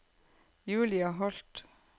Julia Holth